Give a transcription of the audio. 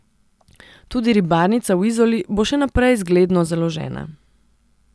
Tudi ribarnica v Izoli bo še naprej zgledno založena.